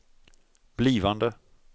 blivande